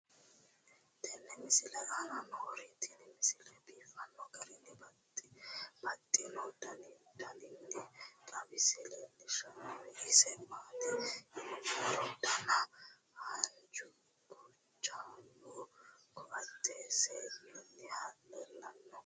tenne misile aana noorina tini misile biiffanno garinni babaxxinno daniinni xawisse leelishanori isi maati yinummoro danna haanju guchaammu koatte seenunihu leelanno